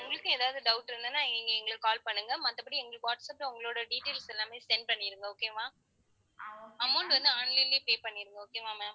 உங்களுக்கும் ஏதாவது doubt இருந்ததுன்னா நீங்க எங்களுக்கு call பண்ணுங்க. மத்தபடி, எங்களுக்கு வாட்ஸாப்ல உங்களோட details எல்லாமே send பண்ணிடுங்க okay வா amount வந்து online லேயே pay பண்ணிடுங்க okay வா ma'am